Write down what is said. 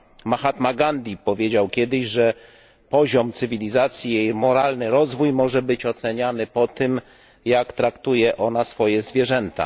Mahatma Gandhi powiedział kiedyś, że poziom cywilizacji i jej moralny rozwój może być oceniany po tym, jak traktuje ona swoje zwierzęta.